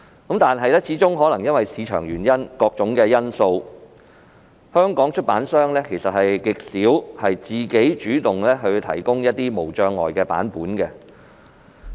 然而，可能由於個人原因或各種因素，香港出版商極少主動提供無障礙版本。